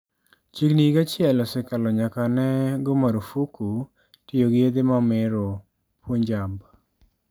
Chiegni higa achiel osekalo nyaka ne go marfuko tiyo gi yedhe mamero Punjab.